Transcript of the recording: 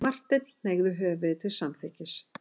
Marteinn hneigði höfðið til samþykkis.